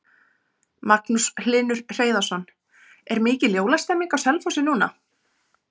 Magnús Hlynur Hreiðarsson: Er mikil jólastemning á Selfossi núna?